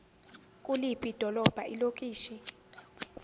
kuliphi idolobha ilokishi